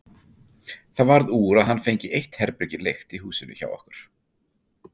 Það varð úr að hann fengi eitt herbergi leigt í húsinu hjá okkur.